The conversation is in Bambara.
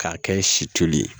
K'a kɛ si toli ye